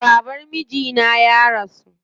Baban mijina ya rasu.